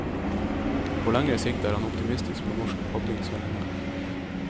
På lengre sikt er han optimistisk på norsk padlings vegne.